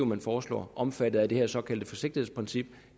man foreslår omfattet af det her såkaldte forsigtighedsprincip